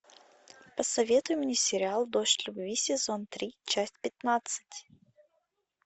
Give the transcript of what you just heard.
посоветуй мне сериал дождь любви сезон три часть пятнадцать